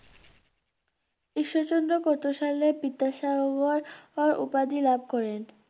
ঈশ্বরচন্দ্র কত সালে বিদ্যাসাগর উপাধি লাভ করেন?